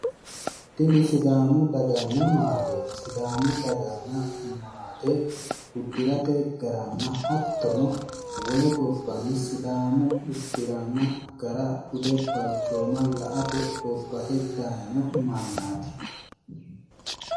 Tinni sidaamu daganna maateti sidaamu daganna maate udirate garanna hattono wole gobbanni sidaamu udiranna gara Bude balchooma la'ate bobbahe dayino mannaati.